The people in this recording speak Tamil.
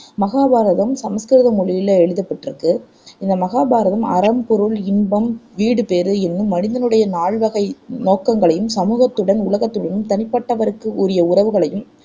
மகாபாரதம் சமஸ்கிருத மொழியில எழுதப்பட்டிருக்கு இந்த மாகாபாரதம் அறம், பொருள், இன்பம், வீடுபேறு என்னும் மனிதனுடைய நால்வகை நோக்கங்களையும், சமூகத்துடனும், உலகத்துடனும் தனிப்பட்டவருக்கு உரிய உறவுகளையும்